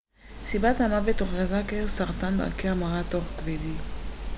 סיבת המוות הוכרזה כסרטן דרכי המרה תוך-כבדי